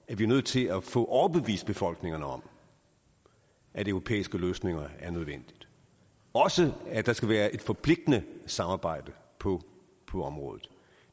at vi er nødt til at få overbevist befolkningerne om at europæiske løsninger er nødvendige også at der skal være et forpligtende samarbejde på på området